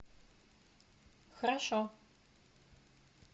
хорошо